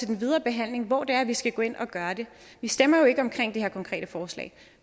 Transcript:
den videre behandling hvor det er vi skal gå ind og gøre det vi stemmer jo ikke om det her konkrete forslag